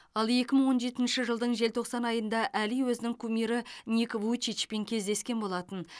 ал екі мың он жетінші жылдың желтоқсан айында әли өзінің кумирі ник вуйчичпен кездескен болатын